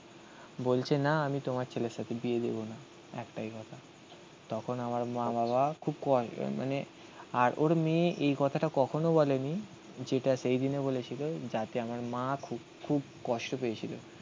বলছে না আমি তোমার ছেলের সাথে বিয়ে দেবো না. একটাই কথা. তখন আমার মা-বাবা খুব কম. মানে আর ওর মেয়ে এই কথাটা কখনো বলেনি যেটা সেইদিনে বলেছিল যাতে আমার মা খুব খুব কষ্ট পেয়েছিল